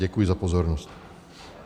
Děkuji za pozornost.